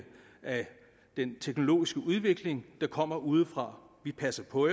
af den teknologiske udvikling der kommer udefra vi passer på